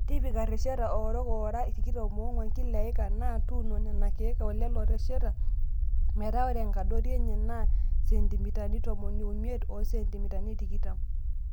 Tipika irresheta oorook oora tikitam oong'uan Kila eika naa tuuno Nena keek e lelo rresheta metaa ore enkadori enye naa sentimitani tomon omiet o sentimitani tikitam.